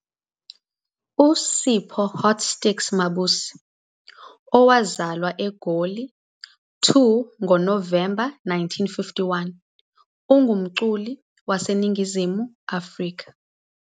USipho " Hotstix " Mabuse, owazalwa eGoli, 2 ngoNovemba 1951, ungumculi waseNingizimu Afrika.